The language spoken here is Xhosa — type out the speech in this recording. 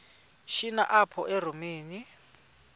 shini apho erawutini